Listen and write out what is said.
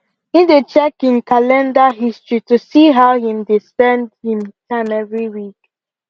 him dey checkmate him calender history to see how him dey spend him time every week